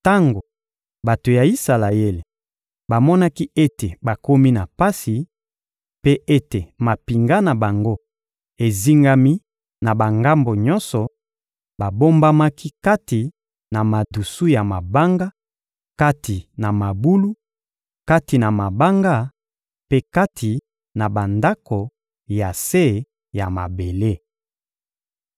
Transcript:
Tango bato ya Isalaele bamonaki ete bakomi na pasi, mpe ete mampinga na bango ezingami na bangambo nyonso, babombamaki kati na madusu ya mabanga, kati na mabulu, kati na mabanga, mpe kati na bandako ya se ya mabele.